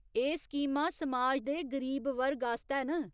एह् स्कीमां समाज दे गरीब वर्ग आस्तै न।